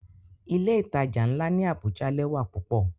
Ile-itaja nla ni Abuja lẹwa pupọ.